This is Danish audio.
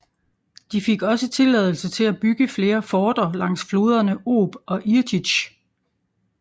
De fik også tilladelse til at bygge flere forter langs floderne Ob og Irtysj